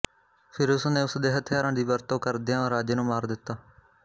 ਫਿਰ ਉਸ ਨੇ ਉਸ ਦੇ ਹਥਿਆਰਾਂ ਦੀ ਵਰਤੋਂ ਕਰਦਿਆਂ ਰਾਜੇ ਨੂੰ ਮਾਰ ਦਿੱਤਾ